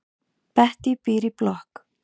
Bettý býr í blokk.